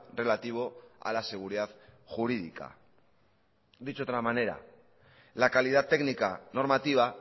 relativo a la seguridad jurídica dicho de otra manera la calidad técnica normativa